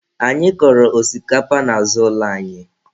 Anyị kọrọ osikapa n'azụ ụlọ anyị